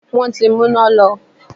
Wọn ti mú iná lọ.